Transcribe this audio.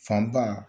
Fanba